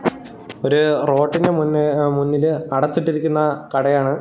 ഒര് റോട്ടിന്റെ മുൻ മുന്നില് അടച്ചിട്ടിരിക്കുന്ന കടയാണ്.